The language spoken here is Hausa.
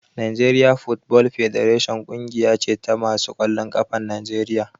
Nigerian football federation ƙungiya ce ta masu ƙwallon ƙafan Najeriya